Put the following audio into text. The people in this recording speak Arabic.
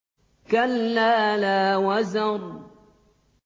كَلَّا لَا وَزَرَ